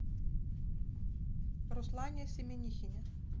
руслане семенихине